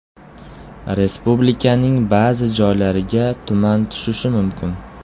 Respublikaning ba’zi joylariga tuman tushishi mumkin.